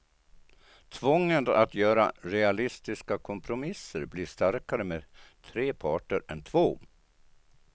Tvånget att göra realistiska kompromisser blir starkare med tre parter än två.